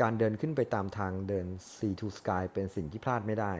การเดินขึ้นไปตามทางเดิน sea to sky เป็นสิ่งที่พลาดไม่ได้